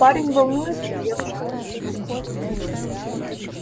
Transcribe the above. парень волнуется девушка кокетничает